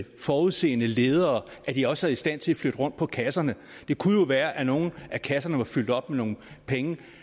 og forudseende ledere at de også er i stand til at flytte rundt på kasserne det kunne jo være at nogle af kasserne var fyldt op med nogle penge